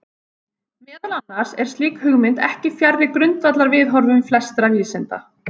Meðal annars er slík hugmynd ekki fjarri grundvallarviðhorfum flestra vísinda.